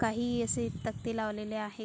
काही असे तकते लावलेले आहे.